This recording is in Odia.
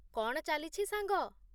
କ'ଣ ଚାଲିଛି ସାଙ୍ଗ?